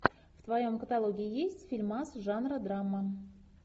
в твоем каталоге есть фильмас жанра драма